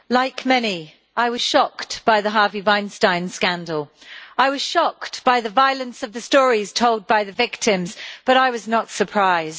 Madam President, like many, I was shocked by the Harvey Weinstein scandal. I was shocked by the violence of the stories told by the victims, but I was not surprised.